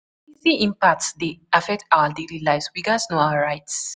di impact dey affect our daily life, we gat know our right.